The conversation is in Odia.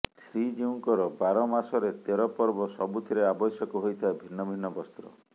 ଶ୍ରୀଜିଉଙ୍କର ବାରମାସରେ ତେରପର୍ବ ସବୁଥିରେ ଆବଶ୍ୟକ ହୋଇଥାଏ ଭିନ୍ନ ଭିନ୍ନ ବସ୍ତ୍ର